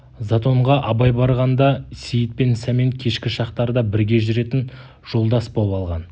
затонға абай барғанда сейіт пен сәмен кешкі шақтарда бірге жүретін жолдас боп алған